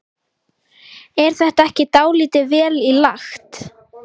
Er þetta ekki dálítið vel í lagt?